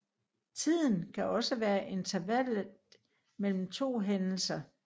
Tiden kan også være intervallet mellem to hændelser